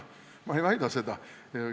Ma ei väida seda.